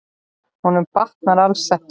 Honum batnar alls ekki.